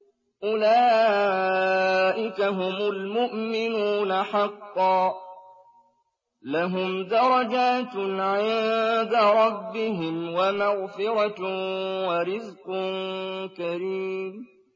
أُولَٰئِكَ هُمُ الْمُؤْمِنُونَ حَقًّا ۚ لَّهُمْ دَرَجَاتٌ عِندَ رَبِّهِمْ وَمَغْفِرَةٌ وَرِزْقٌ كَرِيمٌ